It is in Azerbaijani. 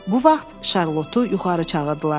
Bu vaxt Şarlotu yuxarı çağırdılar.